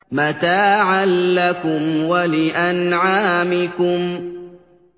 مَّتَاعًا لَّكُمْ وَلِأَنْعَامِكُمْ